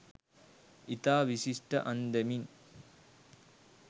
ඉතා විශිෂ්ට අන්දමින්